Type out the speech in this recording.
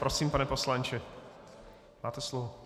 Prosím, pane poslanče, máte slovo.